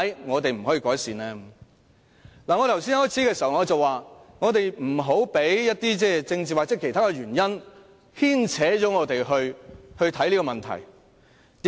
我開始發言時說，我們不要被政治或其他原因影響我們如何看待這個問題。